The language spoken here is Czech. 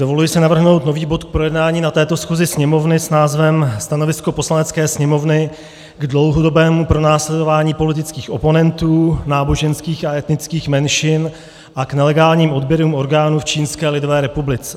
Dovoluji si navrhnout nový bod k projednání na této schůzi Sněmovny s názvem Stanovisko Poslanecké sněmovny k dlouhodobému pronásledování politických oponentů, náboženských a etnických menšin a k nelegálním odběrům orgánů v Čínské lidové republice.